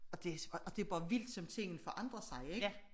Og det bare vildt som tingene forandrer sig ik